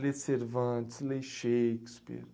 Lê Cervantes, lê Shakespeare.